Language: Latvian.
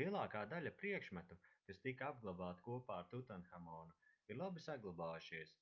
lielākā daļa priekšmetu kas tika apglabāta kopā ar tutanhamonu ir labi saglabājušies